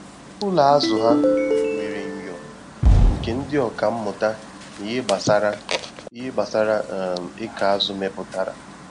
Ụlọ azụ ha nwere myọ nke ndị ọka mmụta na ihe gbasara ihe gbasara um ikọ azụ meputara